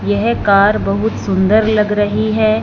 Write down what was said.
येह कार बहुत सुंदर लग रही हैं।